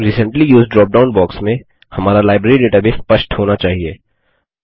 recently used dropdown box में हमारा library database स्पष्ट होना चाहिए